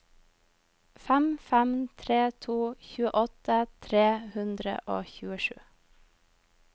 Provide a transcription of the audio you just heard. fem fem tre to tjueåtte tre hundre og tjuesju